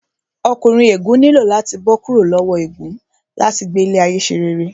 Ọkùnrin ègún nílò láti bó kúrò lowo ègún láti gbé ayé ṣe rere